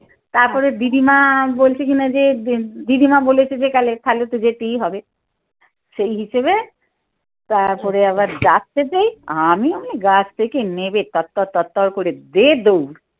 তারপরে দিদিমা বলছে কিনা যে দিদিমা বলেছে যে কালে তো যেতেই হবে সেই হিসেবে তারপরে আবার ডাকতে দেই আমিও গাছ থেকে নেমে তরতর তরতর করে দে দৌড়।